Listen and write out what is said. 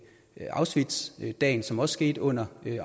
auschwitzdagen som også skete under